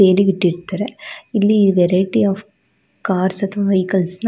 ಇಲ್ಲಿ ವೆರೈಟಿ ಆ ಕಾರ್ಸ್ ಅಥವಾ ವೆಹಿಕಲ್ಸ್ ನ--